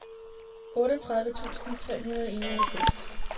otteogtredive tusind tre hundrede og enoghalvfems